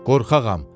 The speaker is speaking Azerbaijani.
Qorxağam.